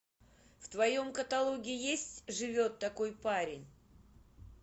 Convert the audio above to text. в твоем каталоге есть живет такой парень